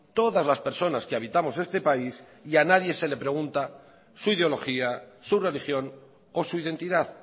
todas las personas que habitamos este país y a nadie se le pregunta su ideología su religión o su identidad